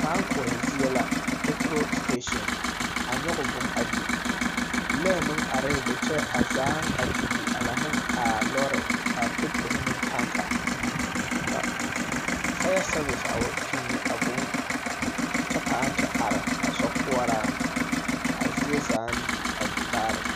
Kpãã koɔhe zie la. Peturo siteesiŋ, a nyɔge buuŋ a di. Lɔɛ meŋ arɛɛ be kyɛ a zaaŋ a di di a laŋ neŋ a lɔɔre a petuorohi meŋ taŋke. Ka faya sɛɛvese a wa kpini a buuŋ kyɛ pãã te are a sokoɔraaŋ. A zie zaaŋ di a di bare.